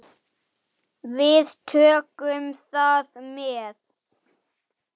Þangað langaði þig að fara.